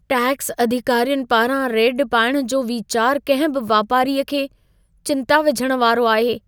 Tax अधिकारियुनि पारां raid पाइण जो वीचार कंहिं बि वापारीअ खे चिंता विझण वारो आहे।